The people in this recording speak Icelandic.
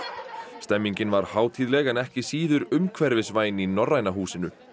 stemningin var hátíðleg en ekki síður umhverfisvæn í Norræna húsinu